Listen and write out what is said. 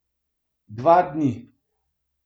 Dva dni.